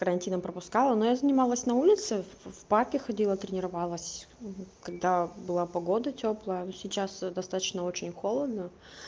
карантином я пропускала но я занималась на улице в парки ходила тренировалась когда была погода тёплая сейчас достаточно очень холодно